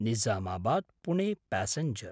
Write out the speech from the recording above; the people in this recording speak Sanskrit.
निजामाबाद्–पुणे प्यासेँजर्